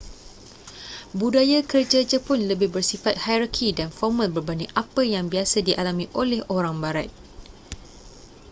budaya kerja jepun lebih bersifat hierarki dan formal berbanding apa yang biasa dialami oleh orang barat